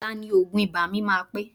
Ọ̀la ni òògùn ibà mi máa pé